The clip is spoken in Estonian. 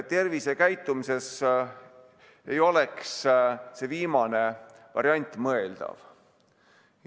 Tervisekäitumises ei oleks see viimane variant mõeldav.